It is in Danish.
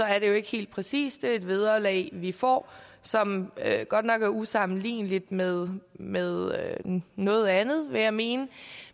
er det jo ikke helt præcist det er et vederlag vi får som godt nok er usammenligneligt med med noget andet vil jeg mene